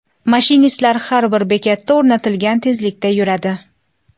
Mashinistlar har bir bekatda o‘rnatilgan tezlikda yuradi.